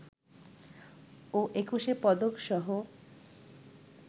ও Ekushey পদকসহ